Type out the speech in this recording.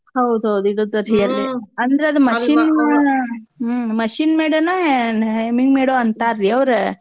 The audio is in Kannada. ಹೌದ್ ಹೌದ್ ಅಂದ್ರ ಅದ್ machine made ನ ಏನ್ hemming made ಅಂತಾರ್ರೀ ಅವ್ರು.